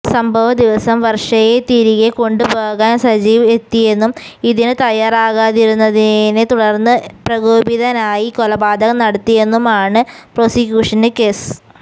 സംഭവ ദിവസം വര്ഷയെ തിരികെ കൊണ്ടുപോകാന് സജീവ് എത്തിയെന്നും ഇതിന് തയ്യാറാകാതിരുന്നതിനെ തുടര്ന്ന് പ്രകോപിതനായി കൊലപാതകം നടത്തിയെന്നുമാണ് പ്രോസിക്യൂഷന് കേസ്